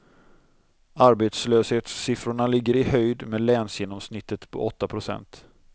Arbetslöshetssiffrorna ligger i höjd med länsgenomsnittet på åtta procent.